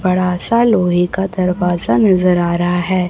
बड़ा सा लोहे का दरवाजा नजर आ रहा है।